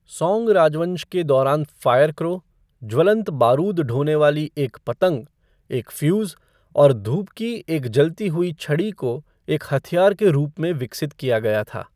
सौंग राजवंश के दौरान फ़ायर क्रो, ज्वलंत बारूद ढोने वाली एक पतंग, एक फ़्यूज़, और धूप की एक जलती हुई छड़ी को एक हथियार के रूप में विकसित किया गया था।